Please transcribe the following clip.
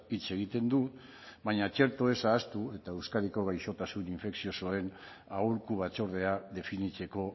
hitz egiten du baina txertoaz ahaztu eta euskadiko gaixotasun infekziosoen aholku batzordea definitzeko